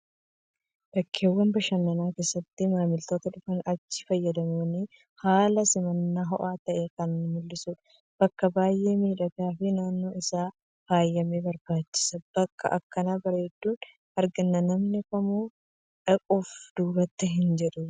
Bakkeewwan bashannanaa keessatti maamiloota dhufanii achii fayyadamaniif haala simannaa ho'aa ta'e kan mul'isu bakka baay'ee miidhagaa fi naannoon isaa faayamee barbaachisa. Bakka akkana bareedu argannaan namni kamuu dhaquuf duubatti hin jedhu